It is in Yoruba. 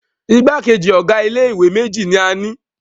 Igbákejì ọ̀ga ilé ìwé méjì ní a ni.